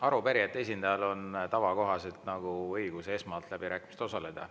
Arupärijate esindajal on tavakohaselt õigus esimesena läbirääkimistel osaleda.